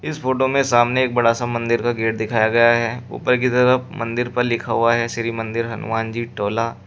इस फोटो में सामने एक बड़ा सा मंदिर का गेट दिखाया गया है ऊपर की तरफ मंदिर पर लिखा हुआ है श्री मंदिर हनुमान जी टोला--